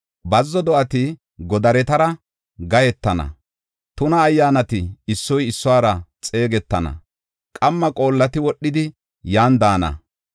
Bazzo do7ati godaretara gahetana; tuna ayyaanati issoy issuwara xeegetana; qamma qoolleti wodhidi yan daana.